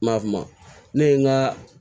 M'a fama ne ye n ka